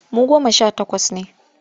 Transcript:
Mu goma sha takwas ne.